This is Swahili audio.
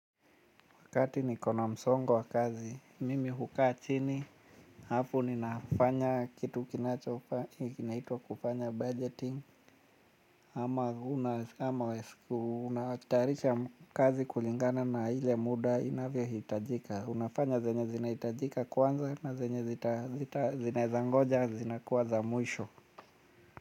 Wakati nikona msongo wa kazi, mimi hukaa chini, halafu ninafanya kitu kinaitwa kufanya budgeting, ama unatayarisha kazi kulingana na ile muda inavyohitajika, unafanya zenye zinahitajika kwanza na zenye zinaezangoja, zinakuwa za mwisho.